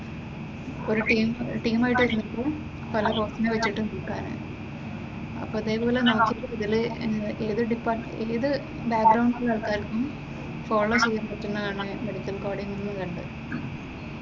ഒരു ടീം ആയിട്ട് നില്ക്കും പല കോഴ്സിനെ പറ്റിയിട്ടും അപ്പൊ ഇതേ പോലെ നമ്മുക്ക് ഇതില് ഏത് ഡിപ്പാർട്മെന്റ് ഏത് ബാക്ഗ്രൗണ്ട്സിലുള്ള ആൾക്കാർക്കും ഫോളോ ചെയാൻ പറ്റുന്നതാണ് മെഡിക്കൽ കോഡിങ് എന്ന് കണ്ടു.